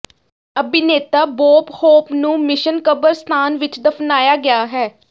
ਅਭਿਨੇਤਾ Bob Hope ਨੂੰ mission ਕਬਰਸਤਾਨ ਵਿੱਚ ਦਫਨਾਇਆ ਗਿਆ ਹੈ